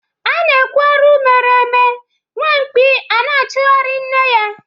A na-ekwu arụ ndi mere eme nwa mkpi a na-achụgharị nne ya.